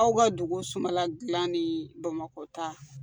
Aw ka dugu sumala dilan ni bamakɔ ta